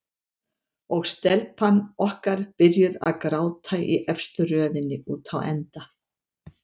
Og telpan okkar byrjuð að gráta í efstu röðinni úti á enda.